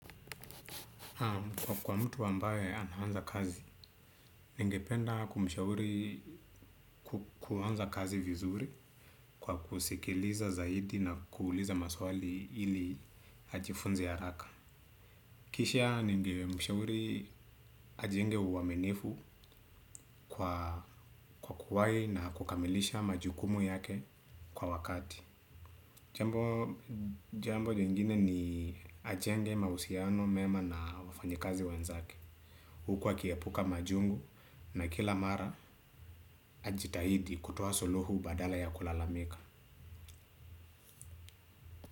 Kwa kwa mtu ambaye anaanza kazi, ningependa kumshauri kuanza kazi vizuri kwa kusikiliza zaidi na kuuliza maswali ili ajifunze haraka. Kisha ninge mshauri ajenge uaminifu kwa kuwai na kukamilisha majukumu yake kwa wakati. Jambo lingine ni ajenge mausiano mema na wafanyikazi wenzake huku akiepuka majungu na kila mara ajitahidi kutoa suluhu badala ya kulalamika.